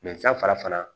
san fara